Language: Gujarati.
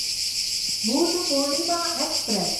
બુધપૂર્ણિમાં એક્સપ્રેસ